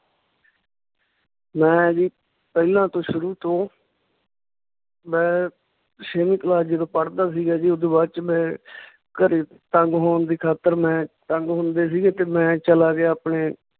ਮੈਂ ਜੀ ਪਹਿਲਾਂ ਤੋਂ ਸ਼ੁਰੂ ਤੋਂ ਮੈਂ ਛੇਵੀਂ class ਜਦੋਂ ਪੜ੍ਹਦਾ ਸੀਗਾ ਜੀ ਓਦੂ ਬਾਅਦ ਚ ਮੈਂ ਘਰੇ ਤੰਗ ਹੋਣ ਦੀ ਖਾਤਰ ਮੈਂ ਤੰਗ ਹੁੰਦੇ ਸੀਗੇ ਤੇ ਮੈਂ ਚਲਾ ਗਿਆ ਆਪਣੇ